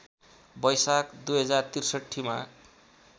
बैशाख २०६३ मा